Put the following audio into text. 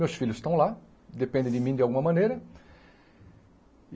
Meus filhos estão lá, dependem de mim de alguma maneira.